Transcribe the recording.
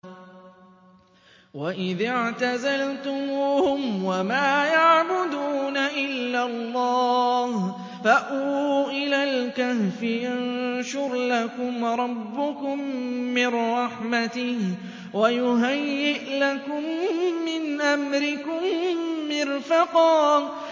وَإِذِ اعْتَزَلْتُمُوهُمْ وَمَا يَعْبُدُونَ إِلَّا اللَّهَ فَأْوُوا إِلَى الْكَهْفِ يَنشُرْ لَكُمْ رَبُّكُم مِّن رَّحْمَتِهِ وَيُهَيِّئْ لَكُم مِّنْ أَمْرِكُم مِّرْفَقًا